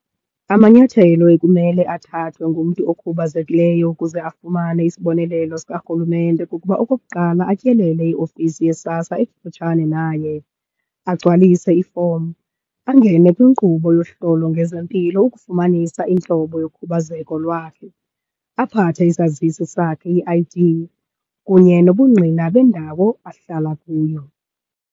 Amanyathelo ekumele athathwe ngumntu okhubazekileyo ukuze afumane isibonelelo sikarhulumente kukuba okokuqala atyelele iofisi yeSASSA ekufutshane naye, agcwalise ifomu. Angene kwinkqubo yohlolo ngezempilo, ukufumanisa intlobo yokhubazeko lwakhe, aphathe isazisi sakhe, i-I_D, kunye nobungqina bendawo ahlala kuyo.